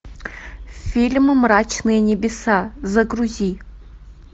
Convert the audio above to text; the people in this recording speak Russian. фильм мрачные небеса загрузи